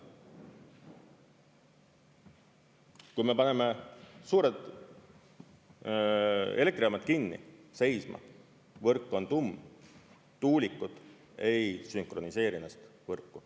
Kui me paneme suured elektrijaamad kinni, seisma, võrk on tumm, tuulikud ei sünkroniseeri ennast võrku.